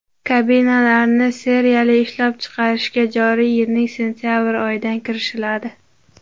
Kabinalarni seriyali ishlab chiqarishga joriy yilning sentabr oyidan kirishiladi.